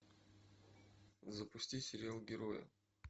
запусти сериал герои